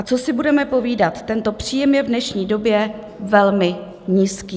A co si budeme povídat, tento příjem je v dnešní době velmi nízký.